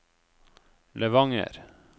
Levanger